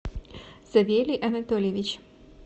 савелий анатольевич